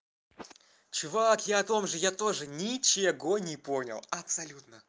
чувак я о том же я тоже ничего не понял абсолютно